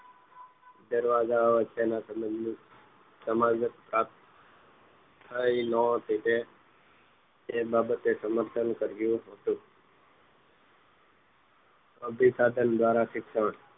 દરવાજા વચ્ચેનો સમજ સંબંધ સમજાયો ન હતો તે બાબતે સમસ્યાનું સર્જાયું હતું અભીશાસન ધ્વારા શિક્ષણ